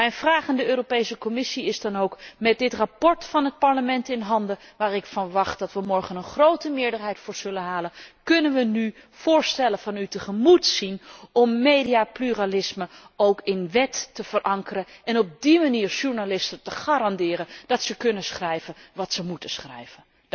Mijn vraag aan de Europese Commissie is dan ook met dit verslag van het Parlement in handen, waar ik van verwacht dat wij er morgen een grote meerderheid voor zullen halen, kunnen wij nu voorstellen van u tegemoet zien om mediapluralisme ook in wet te verankeren en op die manier journalisten te garanderen dat zij kunnen schrijven wat zij moeten schrijven?